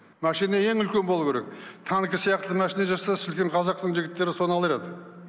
машина ең үлкен болу керек танкі сияқты машина жасаса шіркін қазақтың жігіттері соны алар еді